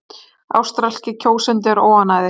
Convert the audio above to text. Ástralskir kjósendur óánægðir